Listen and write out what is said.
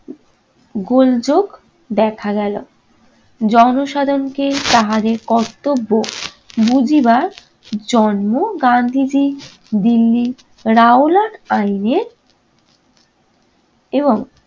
গোলযোগ দেখা গেল। জনসাধারণকে তাহাদের কর্তব্য বুঝিবার জন্ম গান্ধীজি দিল্লির রাওলাদ আইনের এবং